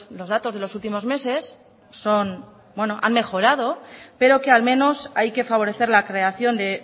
los datos de los últimos meses son bueno han mejorado pero que al menos hay que favorecer la creación de